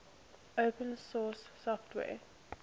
open source software